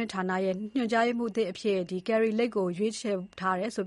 ှင့်ဌာနရဲ့ ညွှန်ကြားရေးမှူးအသစ်အဖြစ် Kari Lake ကို ခန့်ဖို့ ရွေးချယ်ထား တယ်လို့